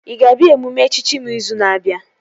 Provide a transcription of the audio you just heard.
Ị ga-abịa emume echichi m izu na-abịa?